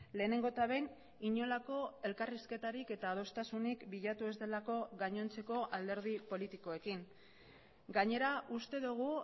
lehenengo eta behin inolako elkarrizketarik eta adostasunik bilatu ez delako gainontzeko alderdi politikoekin gainera uste dugu